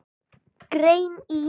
Grein í